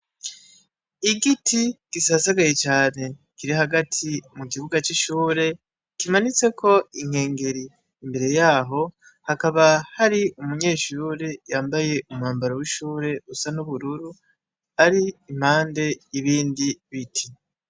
Igiti gisasagaye cane kiri hagati mu kibuga cishure kimanitseko inkengeri yaho hakaba hari umunyeshure yambaye umwambaro wishure usa nubururu ari impande yibindi biti.